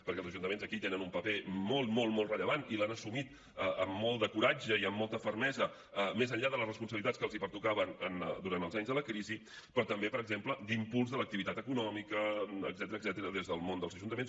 perquè els ajuntaments aquí tenen un paper molt molt rellevant i l’han assumit amb molt de coratge i amb molta fermesa més enllà de les responsabilitats que els pertocaven durant els anys de la crisi però també per exemple d’impuls de l’activitat econòmica etcètera des del món dels ajuntaments